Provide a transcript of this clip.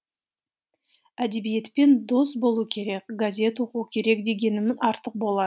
әдебиетпен дос болу керек газет оқу керек дегенім артық болар